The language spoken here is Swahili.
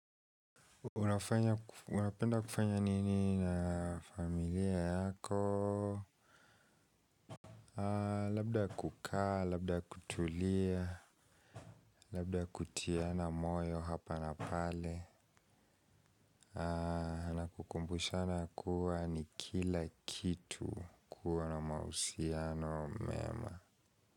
Unapenda kufanya nini na familia yako. Labda kukaa, labda kutulia. Labda kutiana moyo hapa na pale. Na kukumbushana kuwa ni kila kitu. Kuwa na mahusiano mema.